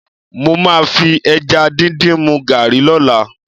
Mo máa fi ẹja díndín mu gààrí lọ́la